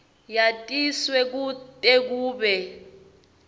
yatiswe kute kube